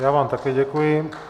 Já vám také děkuji.